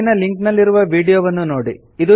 ಕೆಳಗಿರುವ ಲಿಂಕ್ ನಲ್ಲಿರುವ ವೀಡಿಯೊವನ್ನು ನೋಡಿ